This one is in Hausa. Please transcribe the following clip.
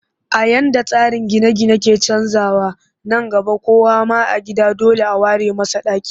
A yadda tsarin gine-gine ke canjawa, nan gaba kowa ma a gida dole a ware masa ɗaki